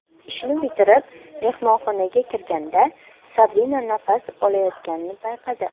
Ishni bitirib, mehmonxonaga kirganda Sabina nafas olayotganini payqadi.